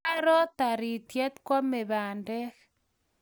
Kwaro tarityet kwame pandek